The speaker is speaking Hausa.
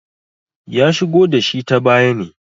ya shigo da shi ta baya ne